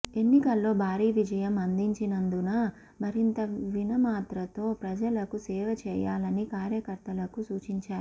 ఎన్నికల్లో భారీ విజయం అందించినందున మరింత వినమ్రతతో ప్రజలకు సేవ చేయాలని కార్యకర్తలకు సూచించారు